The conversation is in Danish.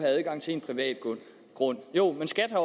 adgang til en privat grund jo men skat har